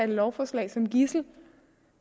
lovforslaget som gidsel